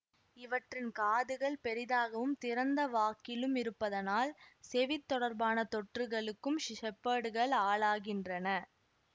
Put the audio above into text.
இவற்றின் காதுகள் பெரிதாகவும் திறந்த வாக்கிலும் இருப்பதனால் செவித் தொடர்பான தொற்றுகளுக்கும் ஷெஃபர்டுகள் ஆளாகின்றன